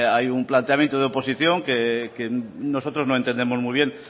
hay un planteamiento de oposición que nosotros no entendemos muy bien